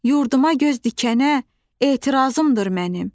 Yurduma göz dikənə etirazımdır mənim.